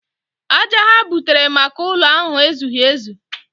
Aja ha butere maka ụlọ ahụ ezughị ezu.